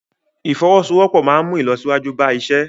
Ìfọwọ́sowọ́pọ̀ máa ń mú ìlọsíwájú bá iṣẹ́.